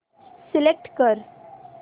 select कर